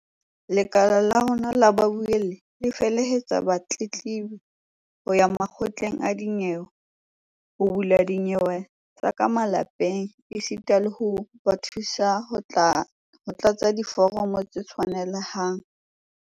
"Lekala la rona la babuelli le felehetsa batletlebi ho ya makgotleng a dinyewe ho bula dinyewe tsa ka malapeng esita le ho ba thusa ho tlatsa diforomo tse tshwanelehang."